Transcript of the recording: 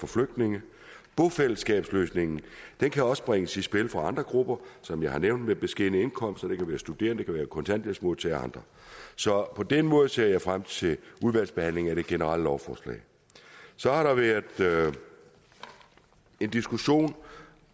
flygtninge bofællesskabsløsningen kan også bringes i spil for andre grupper som jeg har nævnt med beskedne indkomster det kan være studerende kontanthjælpsmodtagere og andre så på den måde ser jeg frem til udvalgsbehandlingen af det generelle lovforslag så har der været en diskussion